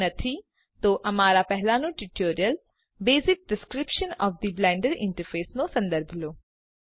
જો નથી તો અમારું પહેલાનું tutorial basic description of the Blender interface નો સંદર્ભ લો